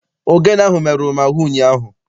Ogene ahụ merụrụ m ahụ ụnyaahụ.